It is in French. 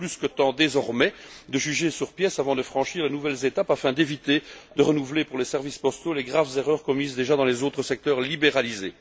Il est plus que temps, désormais, de juger sur pièces avant de franchir de nouvelles étapes afin d'éviter de renouveler, pour les services postaux, les graves erreurs commises déjà dans les autres secteurs libéralisés.